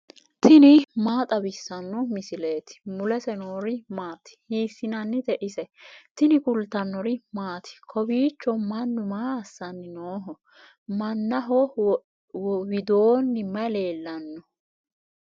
tini maa xawissanno misileeti ? mulese noori maati ? hiissinannite ise ? tini kultannori maati? Kawiichcho mannu maa assanni nooho? Mannaho widoonni May leelanno?